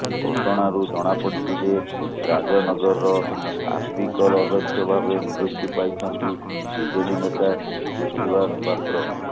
ଘଟଣାରୁ ଜଣାପଡିଛି ଯେ ରାଜନଗରର ଆପିକଲ ଅଧ୍ୟକ୍ଷ ଭାବେ ନିଯୁକ୍ତି ପାଇଛନ୍ତି ବିଜେଡି ନେତା କୃତିବାସ ପାତ୍ର